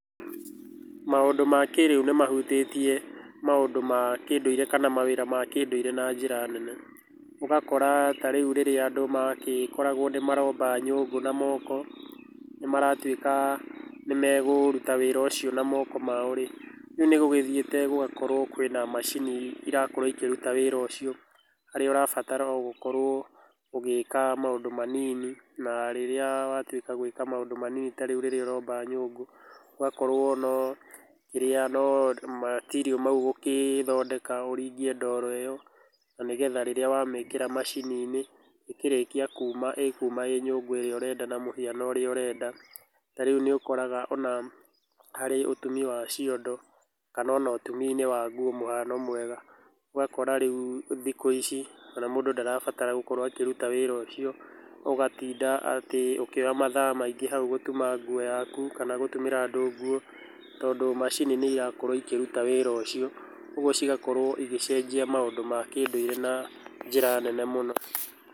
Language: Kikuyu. Maũndũ ma kĩ rĩu nĩ mahutĩtie mandũ ma kĩndũire kana mawĩra ma kĩndũire na njĩra nene. Ũgakora tarĩu rĩrĩa andũ magĩkoragũo nĩ maromba nyũngũ ma moko, nĩ maratuĩka nĩ mekũruta wĩra ũcio na moko mao rĩ, rĩu nĩ gũgĩthiĩte gũgakorwo atĩ kwĩna macini irakorũo ikĩruta wĩra ũcio. Harĩa ũrabatara o gũkorũo ũgĩka maũndũ manini, na rĩrĩa watuĩka gwĩka maũndũ manini ta rĩu rĩrĩa ũromba nyũngũ, ũgakorũo no kĩrĩa no material mau ũgũgĩthondeka ũringie ndoro ĩyo na nĩgetha rĩrĩa wamĩkĩra macini-inĩ ĩkĩrĩkia kuma ĩkuma ĩĩ nyũndũ ĩrĩa ũrenda na mũhiano ũrĩa ũrenda. Ta rĩu nĩ ũkoraga ona harĩ ũtumi wa ciondo kana ona ũtumi-inĩ wa nguo mũhano mwega, ũgakora rĩu thikũ ici ona mũndũ ndarabatara gũkorũo akĩruta wĩra ũcio, ũgatinda atĩ ũkĩoya mathaa maingĩ hau gũtuma nguo yaku kana gũtumĩra andũ nguo, tondũ macini nĩ irakorũo ĩkĩruta wĩra ũcio. Ũguo cigakorũo igĩcenjia maũndũ ma kĩndũire na njĩra nene mũno.